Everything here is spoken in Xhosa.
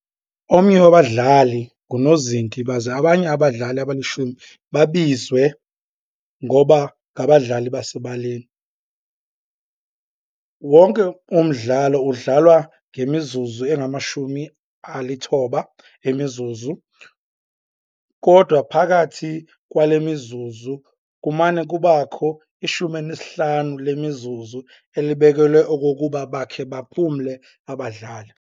Omnye wabadlali ngunozinti, baze abanye abadlali abalishumi babizwe ngokuba "ngabadlali basebaleni.". Wonke umdlalo udlalwa ngemizuzu engama-90 emizuzu, kodwa phakathi kwale mizuzu kumane kubakho i-15 lemizuzu elibekelwe okokuba bakhe baphumle abadlali.